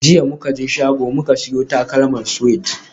Jiya muka je shago muka siyo takalman Suede